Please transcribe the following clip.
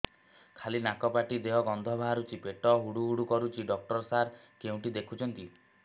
ଖାଲି ନାକ ପାଟି ଦେଇ ଗଂଧ ବାହାରୁଛି ପେଟ ହୁଡ଼ୁ ହୁଡ଼ୁ କରୁଛି ଡକ୍ଟର ସାର କେଉଁଠି ଦେଖୁଛନ୍ତ